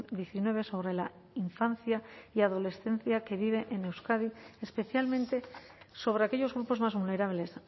diecinueve sobre la infancia y adolescencia que vive en euskadi especialmente sobre aquellos grupos más vulnerables